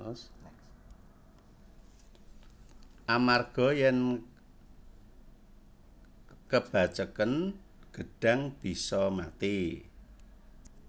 Amarga yen kebaceken gedhang bisa mati